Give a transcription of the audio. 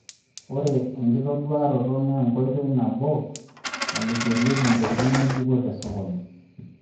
Ore enkitoduaroto naa enkoitoi nabo nilikiorie intokitin ng'ejuko te sokoni